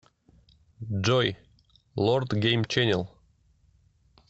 джой лорд гейм ченел